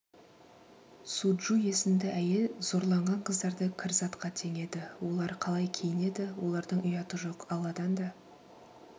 суджу есімді әйел зорланған қыздарды кір затқа теңеді олар қалай киінеді олардың ұяты жоқ алладан да